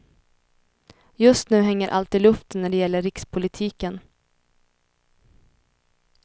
Just nu hänger allt i luften när det gäller rikspolitiken.